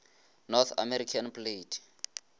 north american plate